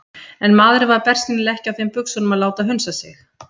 En maðurinn var bersýnilega ekki á þeim buxunum að láta hunsa sig.